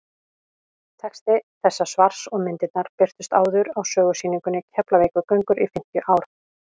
texti þessa svars og myndirnar birtust áður á sögusýningunni keflavíkurgöngur í fimmtíu ár